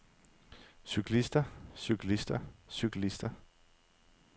cyklister cyklister cyklister